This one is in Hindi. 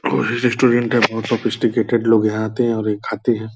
और रेस्टोरेंट के बहुत सॉफिस्टिकेटेड लोग यहाँ आते हैं और ये खाते हैं।